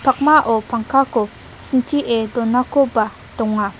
pakmao pangkako sintie donakoba donga.